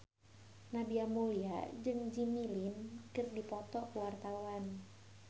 Nadia Mulya jeung Jimmy Lin keur dipoto ku wartawan